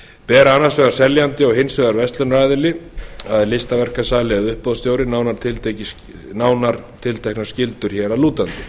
ber annars vegar seljandi og hins vegar verslunaraðili að listaverkasali eða uppboðsstjóri nánar tilteknar skyldur hér að lútandi